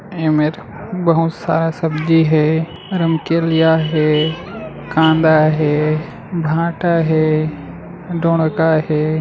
एमेर बहुत सारा सब्जी हे रामकेलिया हे कांदा हे भाटा हे दोड़का हे।